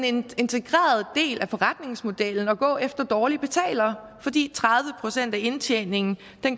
en integreret del af forretningsmodellen at gå efter dårlige betalere fordi tredive procent af indtjeningen